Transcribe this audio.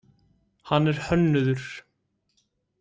Hann er hönnuður.